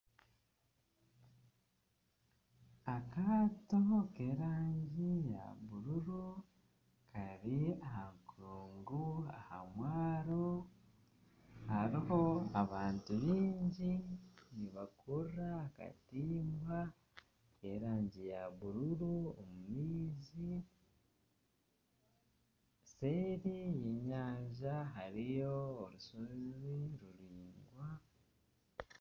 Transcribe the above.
Akaato k'erangi ya bururu kari aha nkungu aha mwaro hariho abantu baingi, nibakurura akatimba nk'erangi ya bururu omu maizi, seeri y'enyanja hariyo orushozi ruraingwa